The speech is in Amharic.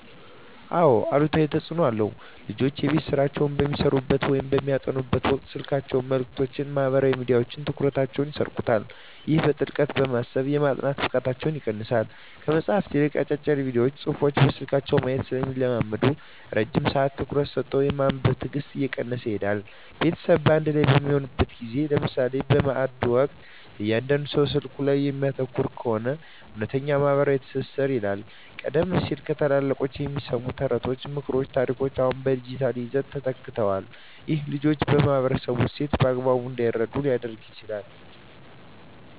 አዎ አሉታዊ ተፅኖ አለው። ልጆች የቤት ሥራቸውን በሚሠሩበት ወይም በሚያጠኑበት ወቅት የስልክ መልእክቶችና ማኅበራዊ ሚዲያዎች ትኩረታቸውን ይሰርቁታል። ይህም በጥልቀት የማሰብና የማጥናት ብቃታቸውን ይቀንሰዋል። ከመጽሐፍት ይልቅ አጫጭር ቪዲዮዎችንና ጽሑፎችን በስልክ ማየት ስለሚለምዱ፣ ረጅም ሰዓት ትኩረት ሰጥቶ የማንበብ ትዕግሥታቸው እየቀነሰ ይሄዳል። ቤተሰብ በአንድ ላይ በሚሆንበት ጊዜ (ለምሳሌ በማዕድ ወቅት) እያንዳንዱ ሰው ስልኩ ላይ የሚያተኩር ከሆነ፣ እውነተኛው ማኅበራዊ ትስስር ይላላል። ቀደም ሲል ከታላላቆች የሚሰሙ ተረቶች፣ ምክሮችና ታሪኮች አሁን በዲጂታል ይዘቶች ተተክተዋል። ይህም ልጆች የማኅበረሰባቸውን እሴት በአግባቡ እንዳይረዱ ሊያደርግ ይችላል።